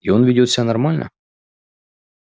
и он ведёт себя нормально